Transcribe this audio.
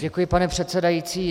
Děkuji, pane předsedající.